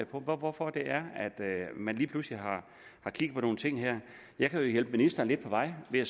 på og hvorfor man lige pludselig har kig på nogle ting her jeg kan jo hjælpe ministeren lidt på vej ved